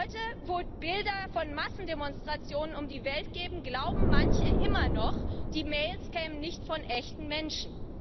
Heute, wo Bilder von Massendemonstrationen um die Welt gehen, glauben manche immer noch, die Mails kämen nicht von echten Menschen.